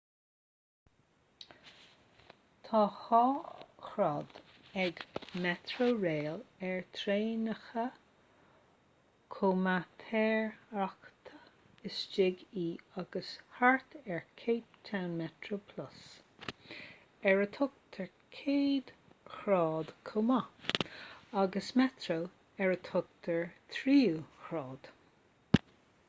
tá dhá ghrád ag metrorail ar thraenacha comaitéireachta istigh i agus thart ar cape town metroplus ar a thugtar céad ghrád chomh maith agus metro ar a thugtar tríú grád